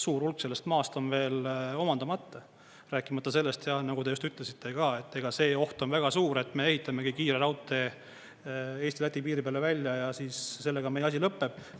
Suur hulk sellest maast on veel omandamata, rääkimata sellest, nagu te just ütlesite ka, et see oht on väga suur, et me ehitamegi kiire raudtee Eesti-Läti piiri peale välja ja sellega asi lõpeb.